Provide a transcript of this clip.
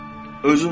Özün ol.